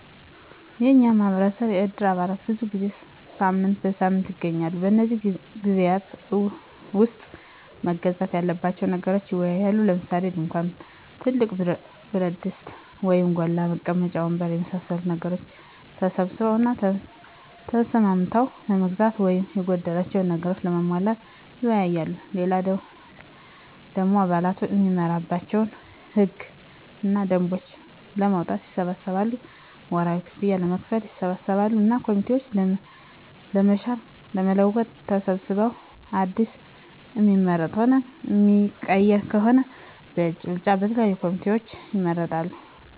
የኛ ማህበረሰብ የእድር አባላት ብዙ ጊዜ ሳምንት በሳምንት ይገናኛሉ። በነዚህ ግዜያት ዉስጥ መገዛት ያለባቸዉን ነገሮች ይወያያሉ። ለምሳሌ፦ ድንኳን፣ ትልቅ ብረትድስት (ጎላ) ፣ መቀመጫ ወንበር የመሳሰሉትን ነገሮች ተሰብስበዉ እና ተስማምተዉ ለመግዛት ወይም የጎደላቸዉን ነገሮች ለማሟላት ይወያያሉ። ሌላ ደሞ አባላቱ እሚመራባቸዉን ህግ እና ደንቦች ለማዉጣትም ይሰበሰባሉ፣ ወርሀዊ ክፍያም ለመክፈል ይሰበሰባሉ እና ኮሚቴዎችን ለመሻር ለመለወጥ ተሰብስበዉ አዲስ እሚመረጥም ሆነ እሚቀየር ከሆነም በእጅ ብልጫ የተለያዩ ኮሚቴዎችን ይመርጣሉ።